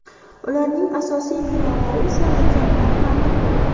Ularning asosiy binolari esa mukammal ta’mirlandi.